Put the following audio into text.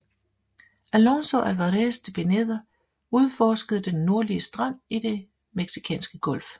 Alonso Álvarez de Pineda udforskede den nordlige strand i Den meksikanske Golf